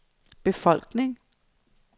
befolkning